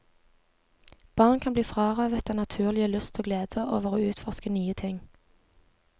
Barn kan bli frarøvet den naturlige lyst og glede over å utforske nye ting.